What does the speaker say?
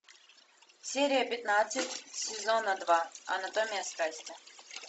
серия пятнадцать сезона два анатомия страсти